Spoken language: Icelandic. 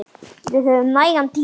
Við höfum nægan tíma.